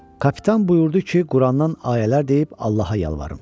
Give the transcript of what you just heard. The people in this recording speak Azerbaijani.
Kapitan buyurdu ki, Qurandan ayələr deyib Allaha yalvarın.